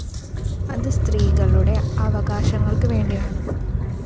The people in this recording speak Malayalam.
അത് സ്ത്രീകളുടെ അവകാശങ്ങള്‍ക്ക് വേണ്ടിയാണ്